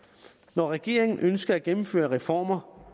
når regeringen ønsker at gennemføre reformer